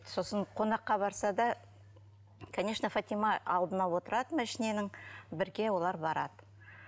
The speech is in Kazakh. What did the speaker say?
сосын қонаққа барса да конечно фатима алдына отырады машиненің бірге олар барады